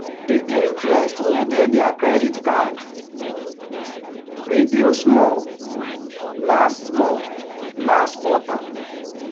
the interest wey dey their credit card reduce small last small last quarter.